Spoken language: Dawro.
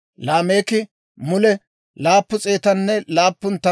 Laameeki mule 777 laytsaa de'iide hayk'k'eedda.